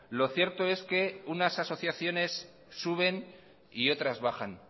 lo cierto es que unas asociaciones suben y otras bajan